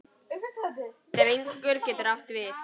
Drengur getur átt við